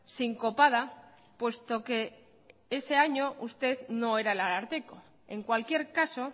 sincopada puesto que ese año usted no era el ararteko en cualquier caso